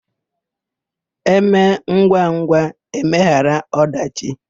E mee ngwangwa, e meghara ọdachị.